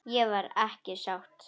Ég var ekki sátt.